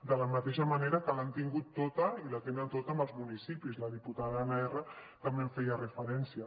de la mateixa manera que l’han tingut tota i la tenen tota amb els municipis la diputada anna erra també hi feia referència